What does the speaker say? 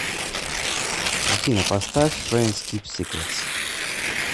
афина поставь френдс кип сикретс